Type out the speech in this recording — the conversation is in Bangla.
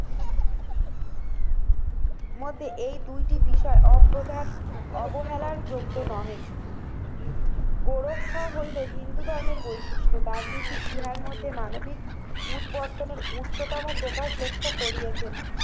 মধ্যে এই দুইটি বিষয় অপ্রধান অবহেলার যোগ্য নয়। গোরক্ষা হইল হিন্দু ধর্মের বৈশিষ্ট্য। গান্ধীজী ইহার মধ্যে মানবিক উৎবর্তনের উচ্চতম প্রকাশ লক্ষ্য করিয়েছেন।